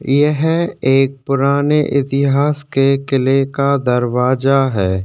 यह एक पुराने इतिहास के किले का दरवाजा है